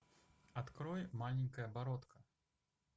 открой маленькая бородка